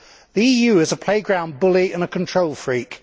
The EU is a playground bully and a control freak.